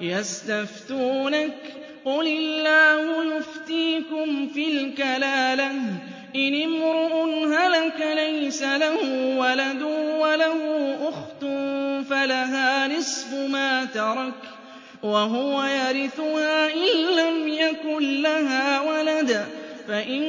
يَسْتَفْتُونَكَ قُلِ اللَّهُ يُفْتِيكُمْ فِي الْكَلَالَةِ ۚ إِنِ امْرُؤٌ هَلَكَ لَيْسَ لَهُ وَلَدٌ وَلَهُ أُخْتٌ فَلَهَا نِصْفُ مَا تَرَكَ ۚ وَهُوَ يَرِثُهَا إِن لَّمْ يَكُن لَّهَا وَلَدٌ ۚ فَإِن